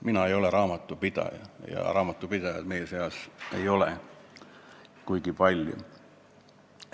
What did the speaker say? " Mina ei ole raamatupidaja ja raamatupidajaid meie seas ei ole kuigi palju.